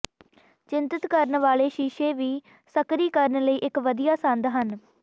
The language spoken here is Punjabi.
ਚਿੰਤਤ ਕਰਨ ਵਾਲੇ ਸ਼ੀਸ਼ੇ ਵੀ ਸਕਰੀ ਕਰਨ ਲਈ ਇੱਕ ਵਧੀਆ ਸੰਦ ਹਨ